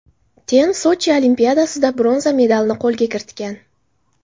Ten Sochi Olimpiadasida bronza medalini qo‘lga kiritgan.